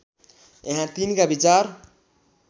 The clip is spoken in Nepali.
यहाँ तिनका विचार